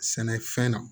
Sɛnɛfɛn na